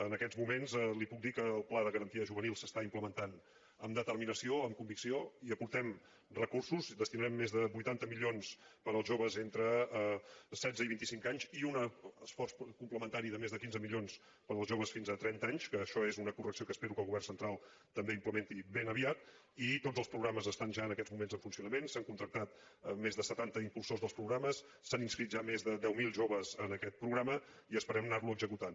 en aquests moments li puc dir que el pla de garantia juvenil s’està implementant amb determinació amb convicció hi aportem recursos hi destinarem més de vuitanta milions per als joves entre setze i vinticinc anys i un esforç complementari de més de quinze milions per als joves fins a trenta anys que això és una correcció que espero que el govern central també implementi ben aviat i tots els programes estan ja en aquests moments en funcionament s’han contractat més de setanta impulsors dels programes s’han inscrit ja més de deu mil joves en aquest programa i esperem anarlo executant